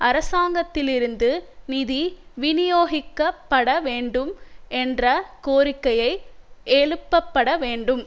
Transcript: அரசாங்கத்திலிருந்து நிதி விநியோகிக்கப்பட வேண்டும் என்ற கோரிக்கை எழுப்பப்பட வேண்டும்